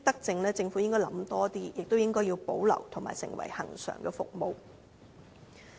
政府應該多考慮這些德政，並且保留成為恆常服務。